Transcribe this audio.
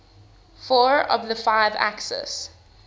four of the five axis